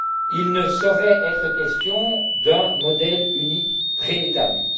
Il ne saurait être question d'un modèle unique préétabli.